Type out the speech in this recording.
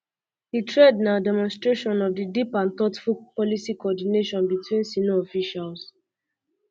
goldberg also report say di officials bin discuss di po ten tial for europe to pay for us protection of key shipping lanes